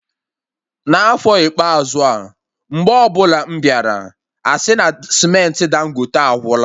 N'afọ ikpeazụ a, mgbe ọbụla m bịara, asị na cementị Dangote agwụla